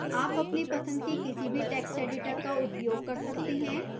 आप अपनी पसंद के किसी भी text editor का उपयोग कर सकते हैं